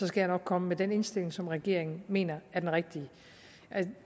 skal jeg nok komme med den indstilling som regeringen mener er den rigtige